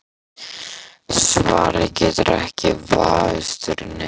Það er að segja þeir eru þar ekki lengur, en.